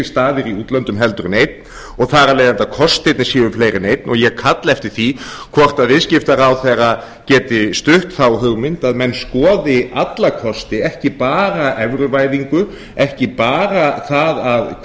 staðir í útlöndum heldur en einn og þar af leiðandi að kostirnir séu fleiri en einn og ég kalla eftir því hvort viðskiptaráðherra geti stutt þá hugmynd að menn skoði alla kosti ekki bara evruvæðingu ekki bara það